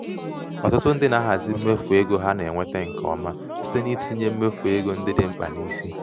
ọtụtụ ndị na-ahazi mmefu ego ha na-enweta ha nke ọma ọma site n'itinye mmefu ego ndị dị mkpa n'isi.